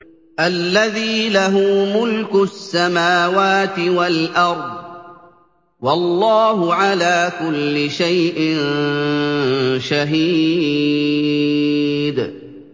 الَّذِي لَهُ مُلْكُ السَّمَاوَاتِ وَالْأَرْضِ ۚ وَاللَّهُ عَلَىٰ كُلِّ شَيْءٍ شَهِيدٌ